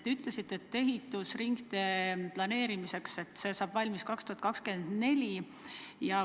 Te ütlesite, et ringtee saab ehitatud aastaks 2024.